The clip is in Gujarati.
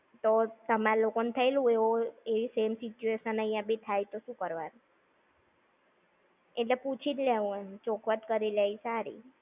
તો તામર લોકો ને થયેલું એવી same situation અઇયાં બી થાય તો શું કરવાનું? એટલે પૂછી જ લેવાનું, ચોખવટ કરી લેવાની સારી.